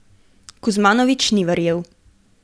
Kuzmanović ni verjel.